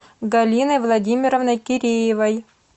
галиной владимировной киреевой